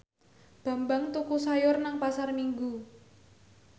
Bambang tuku sayur nang Pasar Minggu